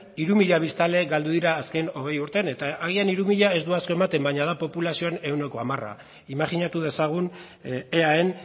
hiru mila biztanle galdu dira azken hogei urteetan eta agian hiru mila ez du asko ematen baina da populazioan ehuneko hamara imajinatu dezagun eaen